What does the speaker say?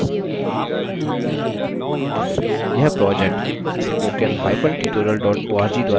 यह project